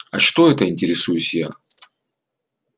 а что это интересуюсь я